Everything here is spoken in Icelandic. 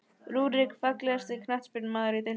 Rúrik Fallegasti knattspyrnumaðurinn í deildinni?